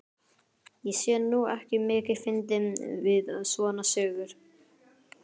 Ég sé nú ekki mikið fyndið við svona sögur.